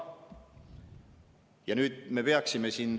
Ja nüüd me peaksime …